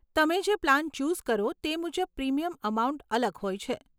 તમે જે plan choose કરો તે મુજબ પ્રીમિયમ અમાઉન્ટ અલગ હોય છે.